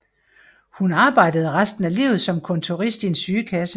Hun arbejdede resten af livet som kontorist i en sygekasse